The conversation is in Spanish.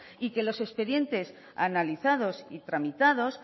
y que los expedientes analizados y tramitados